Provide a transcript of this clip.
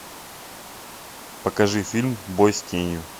покажи фильм бой с тенью